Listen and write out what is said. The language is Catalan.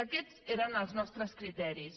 i aquests eren els nostres criteris